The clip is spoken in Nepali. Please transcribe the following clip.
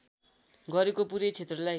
गरेको पूरै क्षेत्रलाई